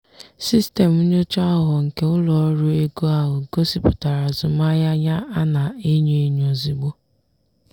sistemu nyocha aghụghọ nke ụlọ ọrụ ego ahụ gosipụtara azụmahịa ya a na-enyo enyo ozugbo.